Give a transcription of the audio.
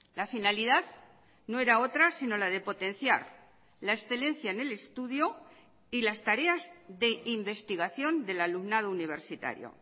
la finalidad no era otra sino la de potenciar la excelencia en el estudio y las tareas de investigación del alumnado universitario